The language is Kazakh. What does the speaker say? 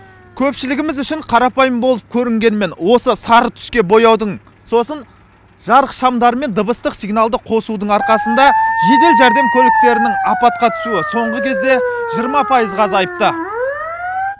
көпшілігіміз үшін қарапайым болып көрінгенімен осы сары түске бояудың сосын жарық шамдары мен дыбыстық сигналды қосудың арқасында жедел жәрдем көліктерінің апатқа түсуі соңғы кезде жиырма пайызға азайыпты